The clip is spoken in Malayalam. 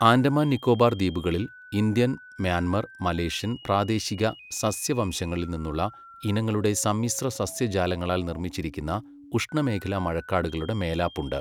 ആൻഡമാൻ നിക്കോബാർ ദ്വീപുകളിൽ ഇന്ത്യൻ, മ്യാൻമർ, മലേഷ്യൻ, പ്രാദേശിക, സസ്യ വംശങ്ങളിൽ നിന്നുള്ള ഇനങ്ങളുടെ സമ്മിശ്ര സസ്യജാലങ്ങളാൽ നിർമ്മിച്ചിരിക്കുന്ന ഉഷ്ണമേഖലാ മഴക്കാടുകളുടെ മേലാപ്പ് ഉണ്ട്,